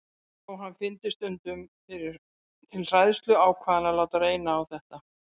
Þó hann fyndi stundum til hræðslu ákvað hann að láta reyna á þetta.